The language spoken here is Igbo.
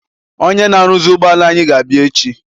Ọnyé na aruzi ụgbọala anyị ga-abia echi.